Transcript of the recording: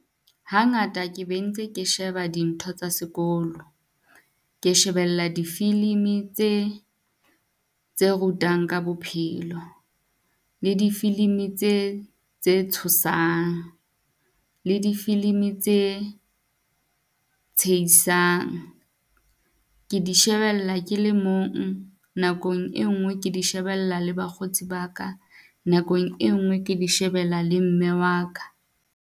Hangata ke be ntse ke sheba dintho tsa sekolo. Ke shebella difilimi tse tse rutang ka bophelo, le difilimi tse tse tshosang, le difilimi tse tshehisang. Ke di shebella ke le mong, nakong e nngwe ke di shebella le bakgotsi ba ka nakong e ngwe ke di shebella le mme wa ka.